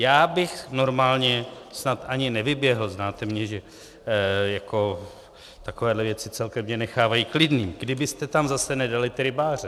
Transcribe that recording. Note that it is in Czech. Já bych normálně snad ani nevyběhl, znáte mě, že jako takovéhle věci celkem mě nechávají klidným, kdybyste tam zase nedali ty rybáře.